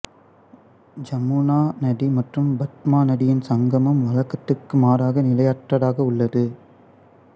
ஜமுனா நதி மற்றும் பத்மா நதியின் சங்கமம் வழக்கத்திற்கு மாறாக நிலையற்றதாக உள்ளது